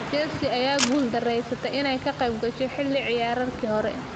Chelsea ayaa ku guuldareysatay inay ka qeyb gasho xilli ciyaareedkii hore.